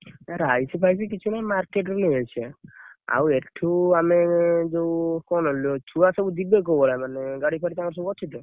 ଏ rice ଫାଇସି କିଛି ନାହିଁ market ରୁ ନେଇ ଆସିବା ଆଉ ଏଠୁ, ଆମେ ଯଉ କଣ ଛୁଆ ସବୁ ଯିବେ କୋଉ ଭଳିଆ, ମାନେ ଗାଡି ଫାଡି ତାଙ୍କର ସବୁ ଅଛି ତ?